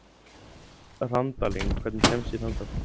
Randalín, hvernig kemst ég þangað?